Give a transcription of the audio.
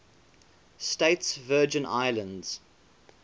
states virgin islands